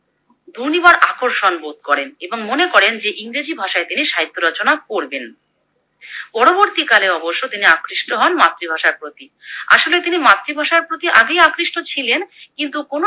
দুর্নিবার আকর্ষণ বোধ করেন এবং মনে করেন যে ইংরেজি ভাষায় তিনি সাহিত্য রচনা করবেন। পরবর্তীকালে অবশ্য তিনি আকৃষ্ট হন মাতৃ ভাষার প্রতি, আসলে তিনি মাতৃভাষার প্রতি আগেই আকৃষ্ট ছিলেন কিন্তু কোনো এক